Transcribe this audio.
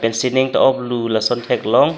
sining ta oplu lason theklong.